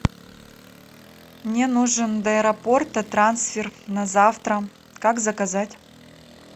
мне нужен до аэропорта трансфер на завтра как заказать